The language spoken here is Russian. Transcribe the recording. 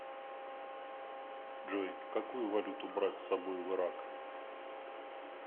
джой какую валюту брать с собой в ирак